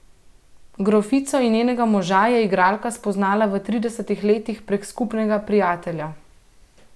Grofico in njenega moža je igralka spoznala v tridesetih letih prek skupnega prijatelja.